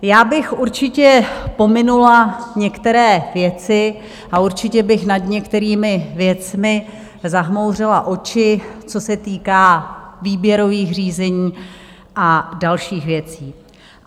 Já bych určitě pominula některé věci a určitě bych nad některými věcmi zamhouřila oči, co se týká výběrových řízení a dalších věcí.